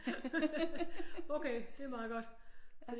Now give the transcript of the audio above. Okay det er meget godt